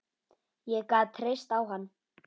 Ég gat treyst á hann.